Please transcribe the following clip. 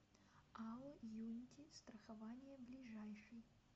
ао юнити страхование ближайший